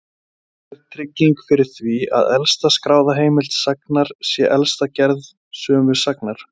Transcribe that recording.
Aldrei er trygging fyrir því að elsta skráða heimild sagnar sé elsta gerð sömu sagnar.